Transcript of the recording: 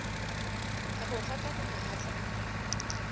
a go gakanega a tla